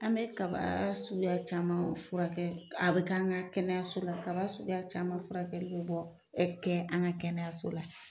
An bɛ kaba suguya caman furakɛ, a bi kɛ an ga kɛnɛyaso la, kaba suguya caman furakɛli bi bɔ, kɛ an ga kɛnɛyaso la.